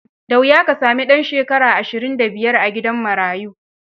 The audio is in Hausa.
Da wuya ka sami ɗan shekara ashirin da biyar a gidan marayu.